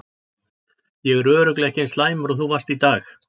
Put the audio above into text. Ég er örugglega ekki eins slæmur og þú varst í dag.